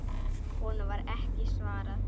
Honum var ekki svarað.